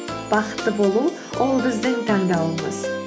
бақытты болу ол біздің таңдауымыз